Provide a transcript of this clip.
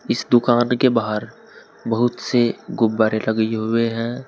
इस दुकान के बाहर बहुत से गुब्बारे लगे हुए हैं।